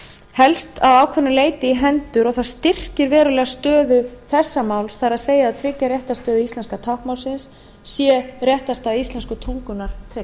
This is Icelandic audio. helst að ákveðnu leyti í hendur og það styrkir verulega stöðu þessa máls það er að tryggja réttarstöðu íslenska táknmálsins sé réttarstaða íslensku tungunnar